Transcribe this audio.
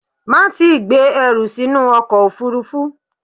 Má tíì gbé ẹrù sínú ọkọ̀ òfúrúfú!